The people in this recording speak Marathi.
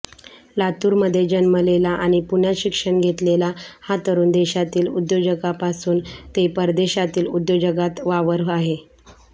लातुरमध्ये जन्मलेला आणि पुण्यात शिक्षण घेतलेला हा तरूण देशातील उद्योगजगापासून ते परदेशातील उद्योगजगात वावर आहे